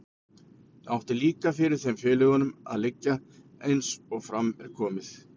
Það átti líka fyrir þeim félögunum að liggja, eins og fram er komið.